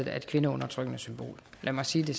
er et kvindeundertrykkende symbol lad mig sige det